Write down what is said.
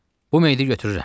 Bu meyidi götürürəm.